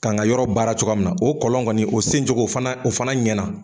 Kan ka yɔrɔ baara cogoya min na o kɔlɔn kɔni o sen cogo fana o fana ɲɛna.